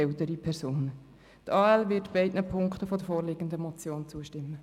Die AL wird beiden Punkten der vorliegenden Motion zustimmen.